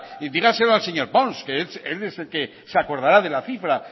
y díganselo al señor pons que él es el que se acordará de la cifra